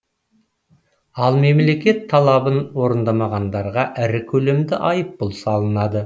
ал мемлекет талабын орындамағандарға ірі көлемде айыппұл салынады